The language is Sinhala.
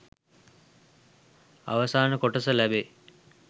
අවසාන කොටස ලැබෙයි